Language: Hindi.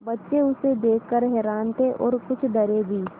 बच्चे उसे देख कर हैरान थे और कुछ डरे भी